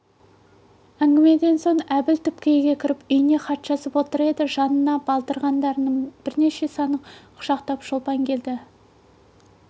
әңгімеден соң әбіл түпкі үйге кіріп үйіне хат жазып отыр еді жанына балдырғанның бірнеше санын құшақтап шолпан келді